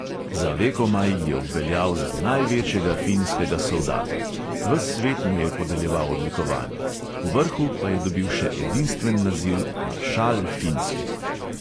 Za vekomaj je obveljal za največjega finskega soldata, ves svet mu je podeljeval odlikovanja – povrhu pa je dobil še edinstven naziv maršal finske.